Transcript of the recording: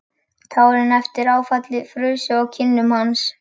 Tárin eftir áfallið frusu á kinnum hans.